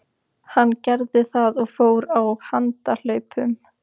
Hann gerði það og fór á handahlaupum.